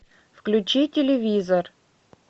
включи телевизор